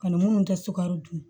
Ani munnu tɛ sukaro dun